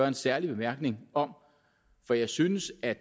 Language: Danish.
en særlig bemærkning om for jeg synes at